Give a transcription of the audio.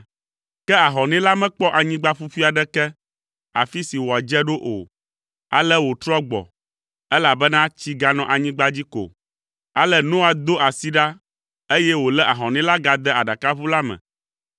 Ke ahɔnɛ la mekpɔ anyigba ƒuƒui aɖeke, afi si wòadze ɖo o, ale wòtrɔ gbɔ, elabena tsi ganɔ anyigba dzi ko. Ale Noa do asi ɖa, eye wòlé ahɔnɛ la gade aɖakaʋu la me.